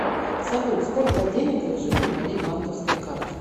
салют сколько денег лежит на моей банковской карте